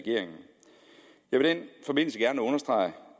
vil i den forbindelse gerne understrege